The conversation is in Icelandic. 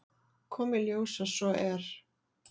Kom í ljós að svo er.